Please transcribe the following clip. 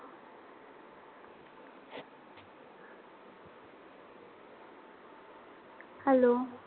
Hello.